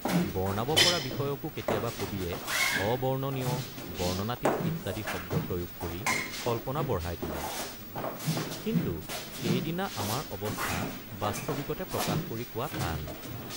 বৰ্ণাব পৰা বিষয়কো কেতিয়াবা কবিয়ে অবৰ্ণনীয় বৰ্ণনাতীত ইত্যাদি শব্দ প্ৰয়োগ কৰি কল্পনা বঢ়াই তোলে কিন্তু সেইদিনাৰ আমাৰ অৱস্থা বাস্তৱিকতে প্ৰকাশ কৰি কোৱা টান।